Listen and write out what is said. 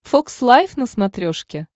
фокс лайв на смотрешке